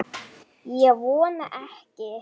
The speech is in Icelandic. Ég vona ekki